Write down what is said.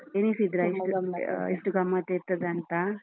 ಎಣಿಸಿದ್ರಾ ಇಷ್ಟು ಇಷ್ಟು ಗಮ್ಮತ್ ಇರ್ತದಂತ?